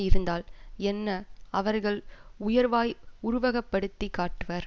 இருந்தால் என்ன அவர்கள் உயர்வாய் உருவகப்படுத்தி காட்டுவர்